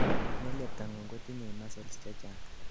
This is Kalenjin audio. ngelyebtangung kotinyei muscles chechang